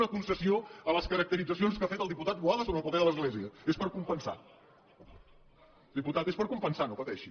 una concessió a les caracteritzacions que ha fet el diputat boada sobre el paper de l’església és per compensar diputat és per compensar no pateixi